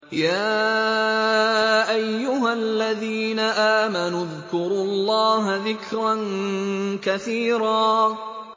يَا أَيُّهَا الَّذِينَ آمَنُوا اذْكُرُوا اللَّهَ ذِكْرًا كَثِيرًا